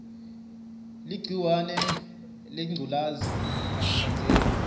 ligciwahe lengculezi alitsandzeki